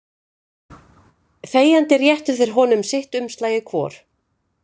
Þegjandi réttu þeir honum sitt umslagið hvor.